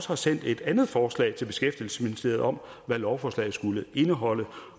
har sendt et andet forslag til beskæftigelsesministeriet om hvad lovforslaget skulle indeholde